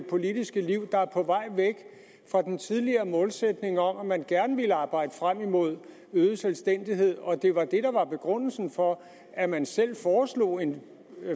politiske liv der er på vej væk fra den tidligere målsætning om at man gerne ville arbejde frem imod øget selvstændighed og at det var det der var begrundelsen for at man selv foreslog en